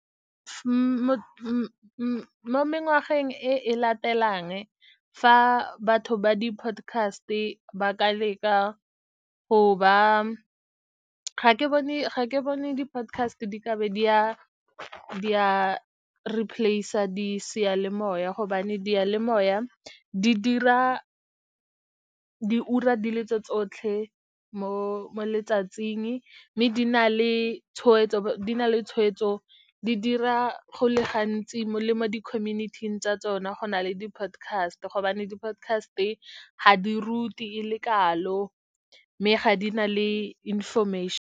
Mo mengwageng e e latelang, fa batho ba di-podcast-e ba ka leka go ba ga ke bone di-podcast-e di ka be di a replace-a di seyalemoya, gobane diyalemoya di dira diura di le tse tsotlhe mo letsatsing, mme di na le tshweetso. Di dira go le gantsi le mo di-community-ing tsa tsona go na le di-podcast-e , gobane di-podcast-e ga di rute e le kalo mme ga di na le .